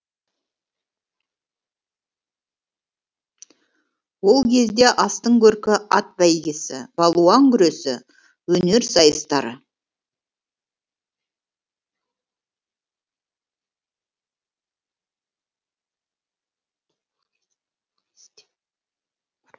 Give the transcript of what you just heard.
ол кезде астың көркі ат бәйгесі балуан күресі өнер сайыстары